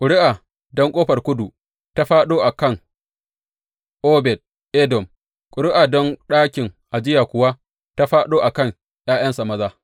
Ƙuri’a don Ƙofar Kudu ta fāɗo a kan Obed Edom, ƙuri’a don ɗakin ajiya kuwa ta fāɗo a kan ’ya’yansa maza.